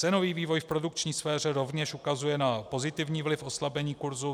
Cenový vývoj v produkční sféře rovněž ukazuje na pozitivní vliv oslabení kurzu.